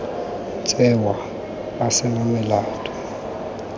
tsewa a se na molato